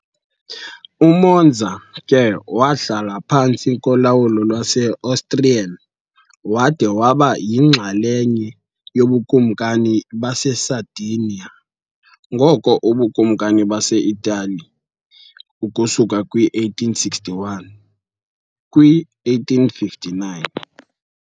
UMonza ke wahlala phantsi kolawulo lwase -Austrian, wada waba yinxalenye yoBukumkani baseSardinia ngoko uBukumkani base-Italy ukusuka kwi-1861 kwi-1859 .